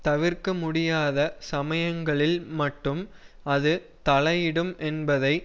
தவிர்க்க முடியாத சமயங்களில் மட்டும் அது தலையிடும் என்பதை